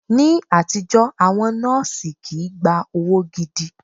Ní àtijọ́, àwọn nọ́ọ̀sì kii gba owó gidi